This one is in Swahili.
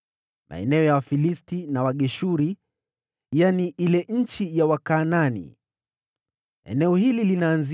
“Nchi iliyosalia ni hii: maeneo yote ya Wafilisti na Wageshuri: